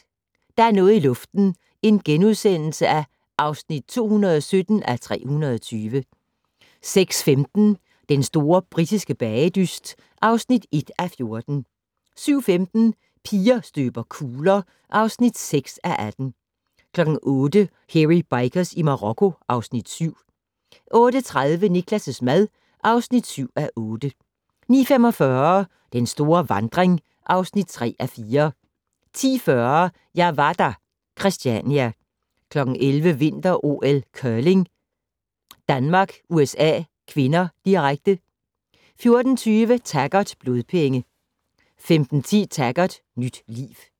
05:50: Der er noget i luften (217:320)* 06:15: Den store britiske bagedyst (1:14) 07:15: Piger støber kugler (6:18) 08:00: Hairy Bikers i Marokko (Afs. 7) 08:30: Niklas' mad (7:8) 09:45: Den store vandring (3:4) 10:40: Jeg var der - Christiania 11:00: Vinter-OL: Curling - Danmark-USA (k), direkte 14:20: Taggart: Blodpenge 15:10: Taggart: Nyt liv